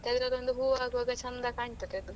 ಅದ್ರದೊಂದು ಹೂ ಆಗುವಾಗ ಚಂದ ಕಾಣ್ತದೆ ಅದು.